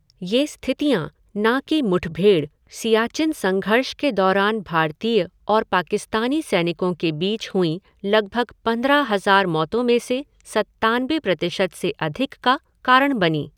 ये स्थितियाँ, ना कि मुठभेड़, सियाचिन संघर्ष के दौरान भारतीय और पाकिस्तानी सैनिकों के बीच हुईं, लगभग पंद्रह हज़ार मौतों में से सत्तानबे प्रतिशत से अधिक का कारण बनीं।